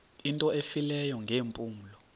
into efileyo ngeempumlo